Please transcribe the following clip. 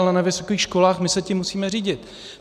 Ale na vysokých školách my se tím musíme řídit.